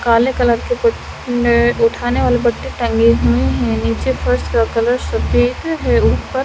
काले कलर के कुछ उठाने वाले पट्टे टांगें हुए हैं नीचे फर्श का कलर सफेद है ऊपर--